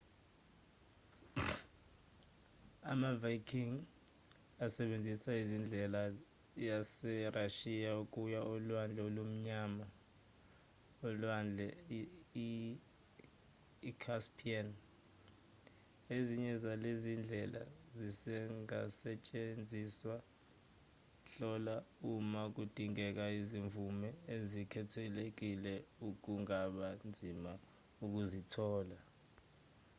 ama-viking asebenzisa imisele yaserashiya ukuya olwandle olumnyama nolwandle i-caspian ezinye zalezi zindlela zisengasetshenziswa hlola uma kudingeka izimvume ezikhethekile okungaba nzima ukuzithola